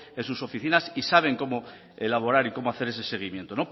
en sus oficinas y saben cómo elaborar y como hacer ese seguimiento